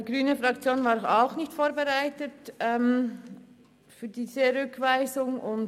Die grüne Fraktion ist auch nicht auf diese Rückweisung vorbereitet.